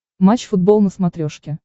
матч футбол на смотрешке